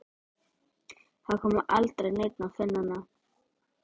Það kom aldrei neinn að finna hann.